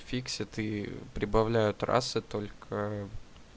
в фиксе ты прибавляют раз и только